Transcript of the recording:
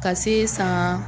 Ka se san